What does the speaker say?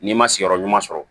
N'i ma sigiyɔrɔ ɲuman sɔrɔ